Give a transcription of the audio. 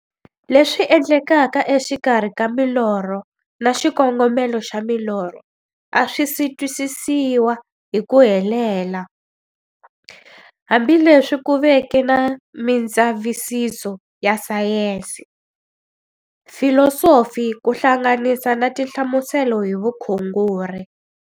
Leswi endlekaka exikarhi ka milorho na xikongomelo xa milorho a swisi twisisiwa hi ku helela, hambi leswi ku veke na mindzavisiso ya sayensi, filosofi ku hlanganisa na tinhlamuselo hi vukhongori.